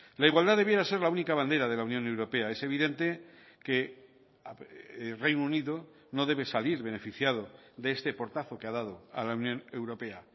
la igualdad debiera ser la única bandera de la unión europea es evidente que reino unido no debe salir beneficiado de este portazo que ha dado a la unión europea